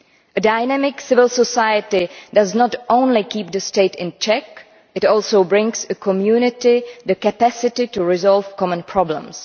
A dynamic civil society not only keeps the state in check but also brings the community the capacity to resolve common problems.